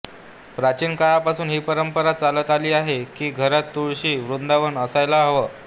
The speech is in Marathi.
प्राचीन काळापासून ही परंपरा चालत आली आहे की घरात तुळशी वृंदावन असायला हवं